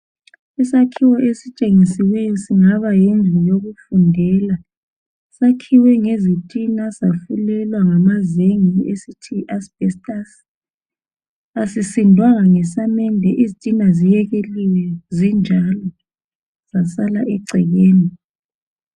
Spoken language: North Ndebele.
Isakhiwo esitshengisiweyo singaba yindlu yokufundela. Sakhiwe ngezitina safulelwa ngamazenge esithi yi"asbestos" .Asisindwanga ngesamende izitina ziyekeliwe zinjalo zasala egcekeni.